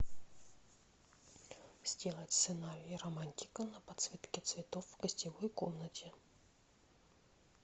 сделать сценарий романтика на подсветке цветов в гостевой комнате